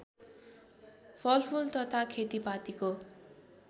फलफुल तथा खेतीपातीको